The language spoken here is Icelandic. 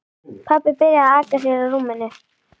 Pabbi byrjaði að aka sér á rúminu.